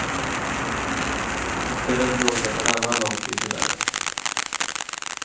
I stället låg det en annan lott i kuvertet.